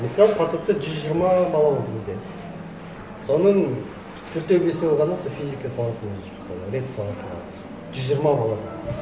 мысалы потокта жүз жиырма бала болды бізде соның төртеуі бесеуі ғана сол физика саласында жүр мысалы рэт саласында жүз жиырма баладан